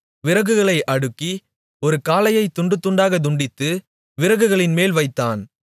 விறகுகளை அடுக்கி ஒரு காளையைத் துண்டு துண்டாக துண்டித்து விறகுகளின்மேல் வைத்தான்